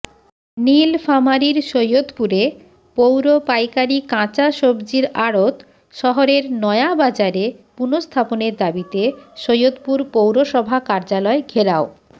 নীলফামারীর সৈয়দপুরে পৌর পাইকারি কাঁচা সবজির আড়ত শহরের নয়াবাজারে পুনঃস্থাপনের দাবিতে সৈয়দপুর পৌরসভা কার্যালয় ঘেরাও